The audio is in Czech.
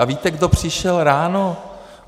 A víte, kdo přišel ráno?